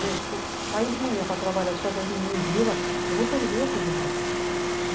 Gente, se eu sair de manhã para trabalhar deixar essas meninas em vila, eu vou perder essas meninas.